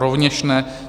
Rovněž ne.